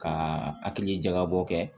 Ka hakili jakabɔ kɛ